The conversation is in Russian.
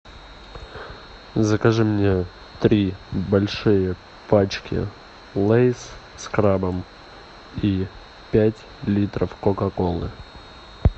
закажи мне три большие пачки лейс с крабом и пять литров кока колы